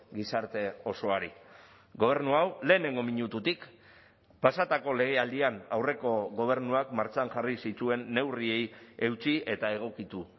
gizarte osoari gobernu hau lehenengo minututik pasatako legealdian aurreko gobernuak martxan jarri zituen neurriei eutsi eta egokitu